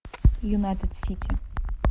юнайтед сити